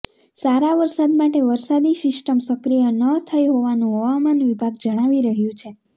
સારા વરસાદ માટે વરસાદી સિસ્ટમ સક્રિય ન થઇ હોવાનું હવામાન વિભાગ જણાવી રહ્યું છે